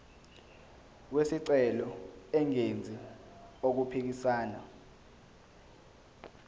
wesicelo engenzi okuphikisana